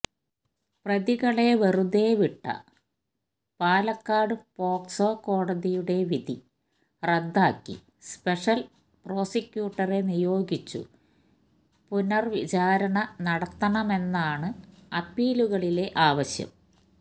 പ്രതികളെ വെറുതേ വിട്ട പാലക്കാട് പോക്സോ കോടതിയുടെ വിധി റദ്ദാക്കി സ്പെഷല് പ്രോസിക്യൂട്ടറെ നിയോഗിച്ചു പുനര്വിചാരണ നടത്തണമെന്നാണ് അപ്പീലുകളിലെ ആവശ്യം